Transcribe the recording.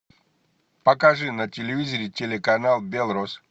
покажи на телевизоре телеканал белрос